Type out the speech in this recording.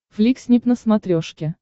фликснип на смотрешке